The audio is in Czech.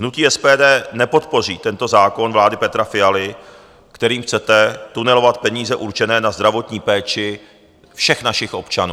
Hnutí SPD nepodpoří tento zákon vlády Petra Fialy, kterým chcete tunelovat peníze určené na zdravotní péči všech našich občanů.